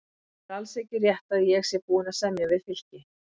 Það er alls ekki rétt að ég sé búinn að semja við Fylki.